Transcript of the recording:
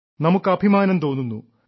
നമുക്ക് അഭിമാനം തോന്നുന്നു